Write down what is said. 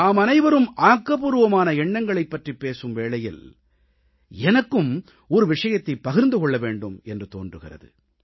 நாமனைவரும் ஆக்கப்பூர்வமான எண்ணங்களைப் பற்றிப் பேசும் வேளையில் எனக்கும் ஒரு விஷயத்தைப் பகிர்ந்து கொள்ள வேண்டும் என்று தோன்றுகிறது